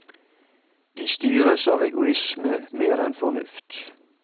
De styres av egoisme, mer enn fornuft.